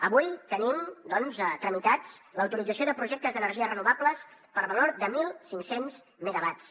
avui tenim doncs tramitats l’autorització de projectes d’energies renovables per valor de mil cinc cents megawatts